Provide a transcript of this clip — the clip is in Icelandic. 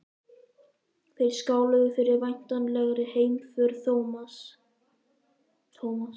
Þeir skáluðu fyrir væntanlegri heimför Thomas.